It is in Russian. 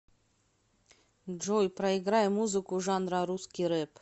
джой проиграй музыку жанра русский реп